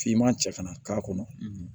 Finman cɛ kana k'a kɔnɔ